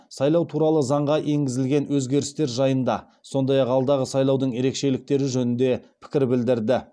сайлау туралы заңға енгізілген өзгерістер жайында сондай ақ алдағы сайлаудың ерекшеліктері жөнінде пікір білдірді